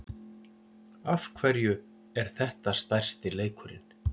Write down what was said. Af hverju er þetta stærsti leikurinn?